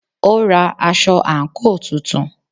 Ó ra aṣọ àǹkóò tuntun.